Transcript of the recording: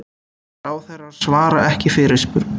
Ráðherrar svara ekki fyrirspurn